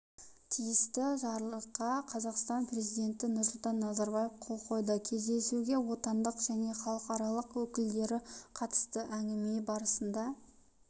тиісті жарлыққа қазақстанның президенті нұрсұлтан назарбаев қол қойды кездесуге отандық және халықаралық өкілдері қатысты әңгіме барысында